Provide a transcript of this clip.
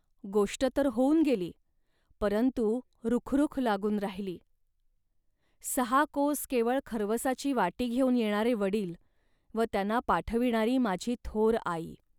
गोष्ट तर होऊन गेली, परंतु रुखरुख लागून राहिली. सहा कोस केवळ खर्वसाची वाटी घेऊन येणारे वडील व त्यांना पाठविणारी माझी थोर आई